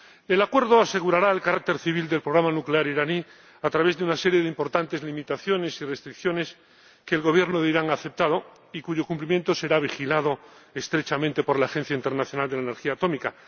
El Acuerdo asegurará el carácter civil del programa nuclear iraní a través de una serie de importantes limitaciones y restricciones que el Gobierno de Irán ha aceptado y cuyo cumplimiento será vigilado estrechamente por la Agencia Internacional de la Energía Atómica.